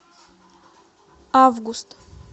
август